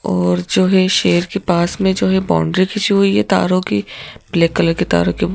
और जो है शेर के पास में जो है बाउंड्री खींची हुई है तारों की ब्लैक कलर के तार के--